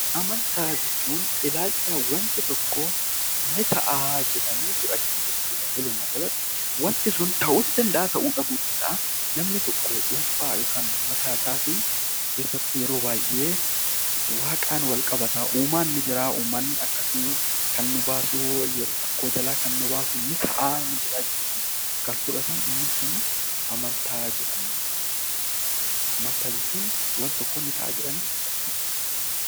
Amantaa jechuun ilaalcha hawaasni tokko ni ta'a jedhee fudhatudha. Walumaa galatti wanti sun ta'uus dhiisuus danda'a. Namni tokko dhuunfaa yookiin mataa isaatiin keessattuu yeroo baay'ee waaqaan walqabata. Uumaan akkasii kan nu baasu rakkoo jalaa kan nu baasuu fi haala jiru kan fudhatanidha.